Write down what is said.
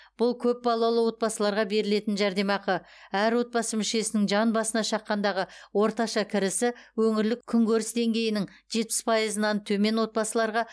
бұл көпбалалы отбасыларға берілетін жәрдемақы әр отбасы мүшесінің жан басына шаққандағы орташа кірісі өңірлік күнкөріс деңгейінің жетпіс пайызынан төмен отбасыларға